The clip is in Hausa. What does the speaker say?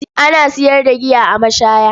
Ana sayar da giya a mashaya.